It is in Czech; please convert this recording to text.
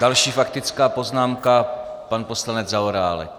Další faktická poznámka - pan poslanec Zaorálek.